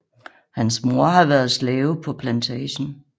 Hans mor har været slave på plantagen